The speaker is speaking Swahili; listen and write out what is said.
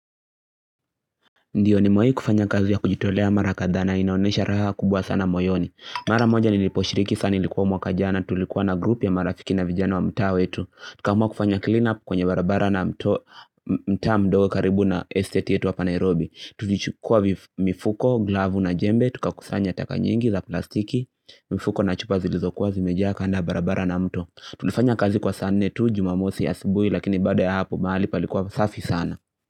Ndio nimewai kufanya kazi ya kujitolea mara kadhaa na ninaonesha raha kubwa sana moyoni. Mara moja niliposhiriki sana ilikuwa mwaka jana, tulikuwa na group ya marafiki na vijana wa mtaa wetu. Tukaamua kufanya clean up kwenye barabara na mtaa mdogo karibu na estate yetu hapa nairobi. Tulichukua mifuko, glavu na jembe, tukakusanya taka nyingi za plastiki, mifuko na chupa zilizokuwa zimejaa kando ya barabara na mto. Tulifanya kazi kwa saa nne tu, jumamosi asubuhi lakini baada ya hapo mahali palikuwa safi sana.